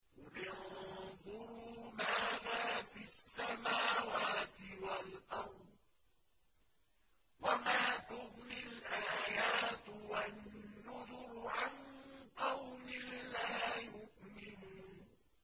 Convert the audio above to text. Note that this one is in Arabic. قُلِ انظُرُوا مَاذَا فِي السَّمَاوَاتِ وَالْأَرْضِ ۚ وَمَا تُغْنِي الْآيَاتُ وَالنُّذُرُ عَن قَوْمٍ لَّا يُؤْمِنُونَ